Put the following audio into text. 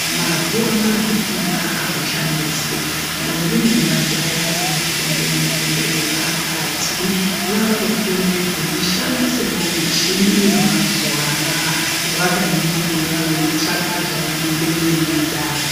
Mazuwa ana kufunda akuchanesi ndombi nemajaya vanofunda mifundo yepakati vakufunde veishandisewo muchini yemazuwa anaa vakaningira veitsvaka zvavanenge veida.